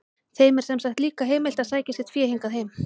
Þeim er sem sagt líka heimilt að sækja sitt fé hingað heim.